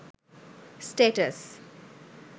status